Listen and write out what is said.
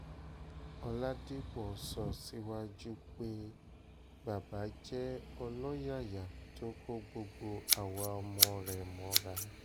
ọ̀làdìpọ̀ sọ síwájú pé baba jẹ́ ọlọ́yàyà tó kó gbogbo àwa ọmọ rẹ̀ mọ́ra